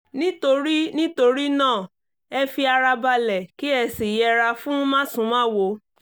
nítorí nítorí náà ẹ fi ara balẹ̀ kí ẹ sì yẹra fún másùnmáwo